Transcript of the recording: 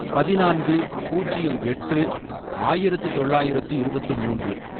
பதினான்கு, பூஜ்யம் எட்டும் ஆயிரத்து தொள்ளாயிரத்து இருபத்து மூன்று